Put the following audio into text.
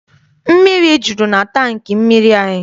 Mmiri juru na tankị mmiri anyị.